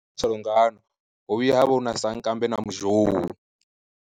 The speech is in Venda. Salungano, hovhuya havha huna sankambe na muzhou.